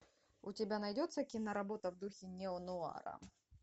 у тебя найдется киноработа в духе неонуара